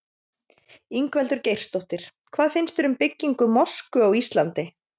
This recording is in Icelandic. Ingveldur Geirsdóttir: Hvað finnst þér um byggingu mosku á Íslandi?